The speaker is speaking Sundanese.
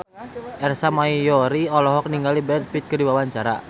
Ersa Mayori olohok ningali Brad Pitt keur diwawancara